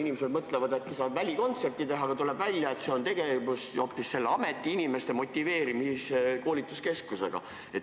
Inimesed mõtlevad, et äkki saavad välikontserte teha, aga tuleb välja, et see on hoopis selle ameti inimeste motiveerimise, koolitamise keskus.